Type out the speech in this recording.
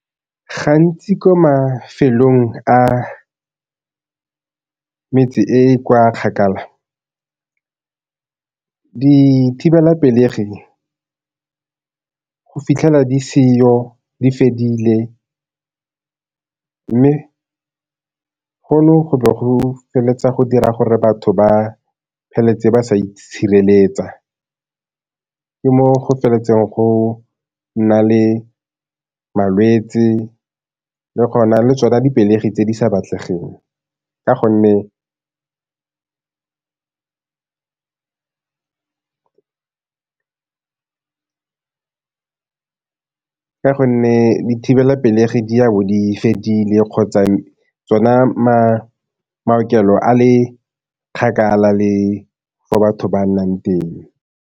Gantsi ko mafelong a metse e e kwa kgakala dithibelapelegi go fitlhela di seyo di fedile, mme gono, go be go feleletsa go dira gore batho ba feleletse ba sa itshireletsa. Ke moo go go nna le malwetse le tsona di pelegi tse di sa batlegeng, ka gonne ka gonne dithibelapelegi di a bo di fedile kgotsa tsona maokelo a le kgakala le fa batho ba nnang teng.